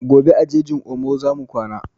Gobe a jejin omo zamu kwana